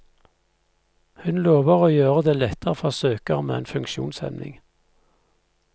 Hun lover å gjøre det lettere for søkere med en funksjonshemning.